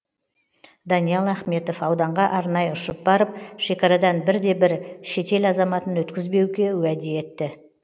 даниал ахметов ауданға арнайы ұшып барып шекарадан бір де бір шетел азаматын өткізбеуге уәде етті